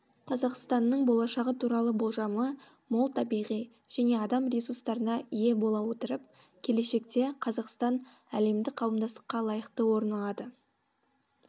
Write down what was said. қазақстанның болашағы туралы болжамы мол табиғи және адам ресурстарына ие бола отырып келешекте қазақстан әлемдік қауымдастықта лайықты орын алады